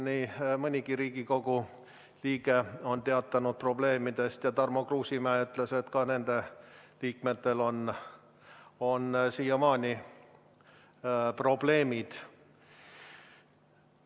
Nii mõnigi Riigikogu liige on teatanud probleemidest ja Tarmo Kruusimäe ütles, et ka nende liikmetel on siiamaani probleemid.